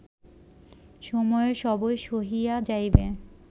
সময়ে সবই সহিয়া যাইবে